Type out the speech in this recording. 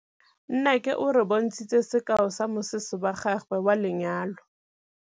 Nnake o re bontshitse sekaô sa mosese wa gagwe wa lenyalo.